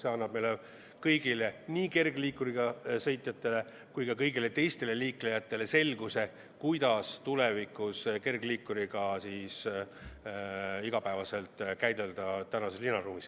See annab meile kõigile – nii kergliikuriga sõitjatele kui ka kõigile teistele liiklejatele – selguse, kuidas tulevikus kergliikuriga igapäevaselt linnaruumis ümber käia.